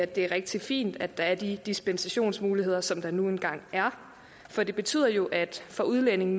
det er rigtig fint at der er de dispensationsmuligheder som der nu engang er for det betyder jo at for udlændinge